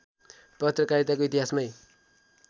पत्रकारिताको इतिहासमै